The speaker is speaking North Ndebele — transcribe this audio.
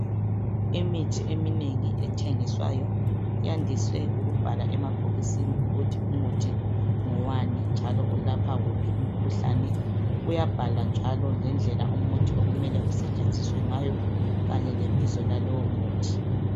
Imithi eminengi ethengiswayo iyandise ukubhalwa emabhokisini ukuthi umuthi ngowani njalo ulapha uphi umkhuhlane uyabhalwa njalo ngedlela umuthi okumele usetshenziswe ngayo kanye lebizo lalowo muthi.